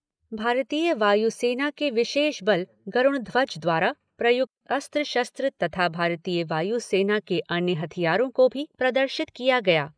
भारतीय वायु सेना के विशेष बल गरूणध्वज द्वारा प्रयुक्त अस्त्र शस्त्र तथा भारतीय वायु सेना के अन्य हथियारों को भी प्रदर्शित किया गया।